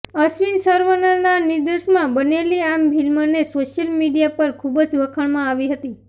અશ્વિન સરવનનના નિર્દેશનમાં બનેલી આ ફિલ્મને સોશિયલ મીડિયા પર ખુબજ વખાણમાં આવી હતી